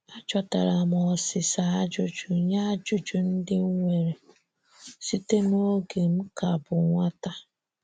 Achọtaram osisa ajụjụ nye ajụjụ ndị nwere site n'oge m ka bụ nwata.